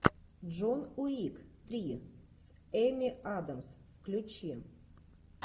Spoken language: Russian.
джон уик три с эми адамс включи